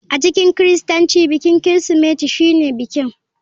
A cikin kiristanci bikin Kirsimeti shine bikin.